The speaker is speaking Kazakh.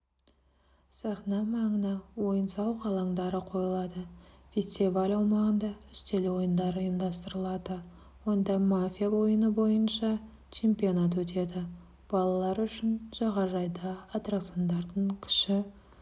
сахна маңына ойын-сауық алаңдары қойылады фестиваль аумағында үстел ойындары ұйымдастырылады онда мафия ойыны бойынша чемпионат өтеді балалар үшін жағажайда аттракциондардың кіші